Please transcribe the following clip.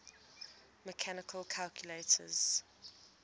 mechanical calculators